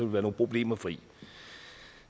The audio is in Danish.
være nogle problemer kvit